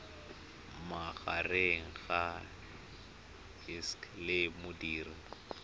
magareng ga gcis le modirisi